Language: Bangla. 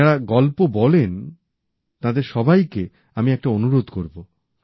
যাঁরা গল্প বলেন তাঁদের সবাইকে আমি একটা অনুরোধ করব